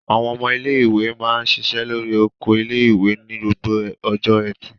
Àwọn ọmọ ilé-ìwé máa ń ṣiṣẹ́ lórí oko ilé-ìwé ní gbogbo ọjọ́ ẹtì.